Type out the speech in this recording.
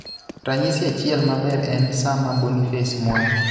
Ranyisi achiel maber en sama Boniface Mwangi,